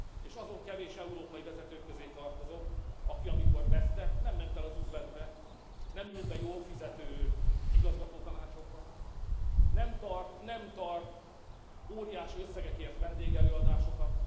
És azon kevés európai vezetők közé tartozom, aki, amikor vesztett, nem ment el az üzletbe, nem ült be jól fizető igazgatótanácsokba, nem tart óriási összegekért vendégelőadásokat.